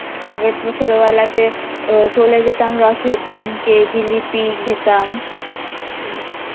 আগে তো ছোটবেলাতে আহ চলে যেতাম রথের দিনকে জিলিপি খেতাম